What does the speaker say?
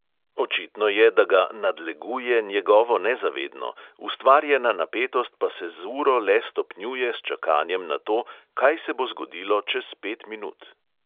Očitno je, da ga "nadleguje" njegovo nezavedno, ustvarjena napetost pa se z uro le stopnjuje s čakanjem na to, kaj se bo zgodilo čez pet minut.